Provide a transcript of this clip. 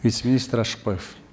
вице министр ашықбаев